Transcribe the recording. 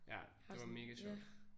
Ja det var mega sjovt